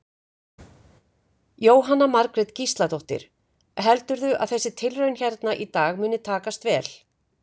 Jóhanna Margrét Gísladóttir: Heldurðu að þessi tilraun hérna í dag muni takast vel?